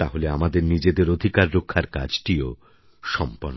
তাহলে আমাদের নিজেদের অধিকার রক্ষার কাজটিও সম্পন্ন হবে